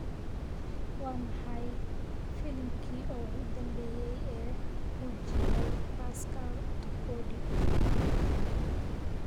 waa maxay filimki ugu dambeeyay ee uu jilay pascal tokodi